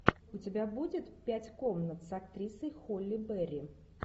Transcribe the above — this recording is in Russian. у тебя будет пять комнат с актрисой холли берри